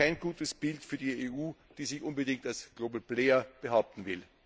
Kein gutes Bild für die EU, die sich unbedingt als Global Player behaupten will!